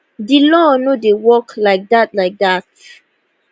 di law no dey work like dat like dat